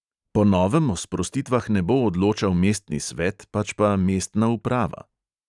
Po novem o sprostitvah ne bo odločal mestni svet, pač pa mestna uprava.